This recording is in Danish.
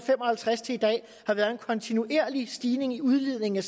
fem og halvtreds til i dag har været en kontinuerlig stigning i udledningen